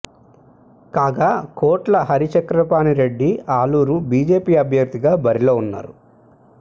కాగా కోట్ల హరిచక్రపాణి రెడ్డి ఆలూరు బీజేపీ అభ్యర్థిగా బరిలో ఉన్నారు